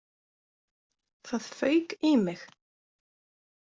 Það fauk í mig.